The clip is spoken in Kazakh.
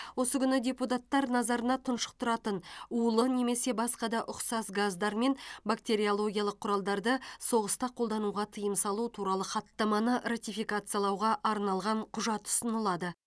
осы күні депутаттар назарына тұншықтыратын улы немесе басқа да ұқсас газдар мен бактериологиялық құралдарды соғыста қолдануға тыйым салу туралы хаттаманы ратификациялауға арналған құжат ұсынылады